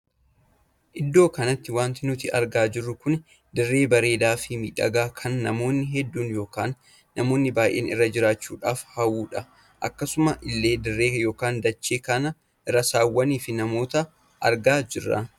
Iddoo kanatti wanti nuti argaa jirru kun dirree bareedaa fi miidhagaa kan namoonni hedduun ykn namoonni baay'een irra jiraachuudhaaf hawwudha. akkasuma illee dirree ykn dachee kan irraa saawwanii fi namoota argaa jirra.